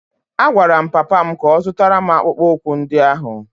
A gwara m papa m ka ọ zụtara m akpụkpọ ụkwụ ndị ahụ!